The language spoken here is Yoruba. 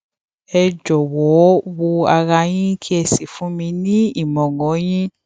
ẹ jọwọ wo ara yín kí ẹ sì fún mi ní ìmọràn yín